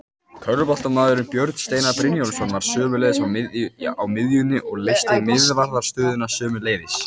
Körfuboltamaðurinn Björn Steinar Brynjólfsson var sömuleiðis á miðjunni og leysti miðvarðarstöðuna sömuleiðis.